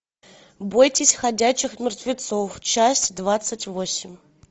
бойтесь ходячих мертвецов часть двадцать восемь